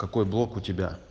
какой блог у тебя